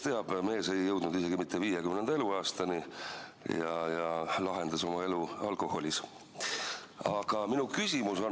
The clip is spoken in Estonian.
Mees ei jõudnud isegi mitte 50. eluaastani ja lahendas oma eluprobleemid alkoholis.